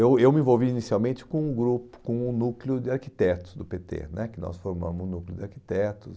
Eu eu me envolvi inicialmente com o grupo com o núcleo de arquitetos do pê tê né, que nós formamos o núcleo de arquitetos.